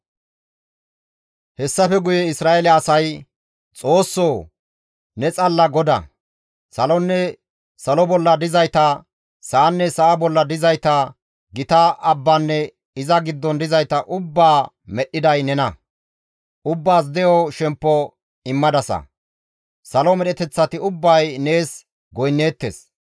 Hessafe guye Isra7eele asay, «Xoossoo, ne xalla Goda; Salonne salo bolla dizayta, sa7anne sa7a bolla dizayta, gita abbanne iza giddon dizayta ubbaa medhdhiday nena. Ubbaas de7o shemppo immadasa; Salo medheteththati ubbay nees goynneettes.